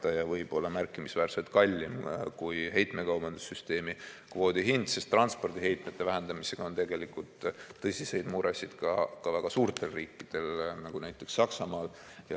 Ja see võib olla märkimisväärselt kallim kui heitmekaubanduse süsteemi kvoodi hind, sest transpordiheitmete vähendamisega on tegelikult tõsiseid muresid ka väga suurtel riikidel, näiteks Saksamaal.